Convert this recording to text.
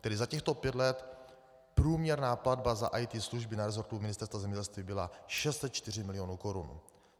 Tedy za těchto pět let průměrná platba za IT služby na resortu Ministerstva zemědělství byla 604 milionů korun.